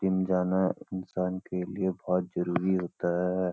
gym जाना इंसान के लिया बहोत जरूरी होता है|